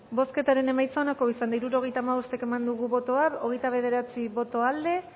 bozketaren emaitza onako izan da hirurogeita hamabost eman dugu bozka hogeita bederatzi boto aldekoa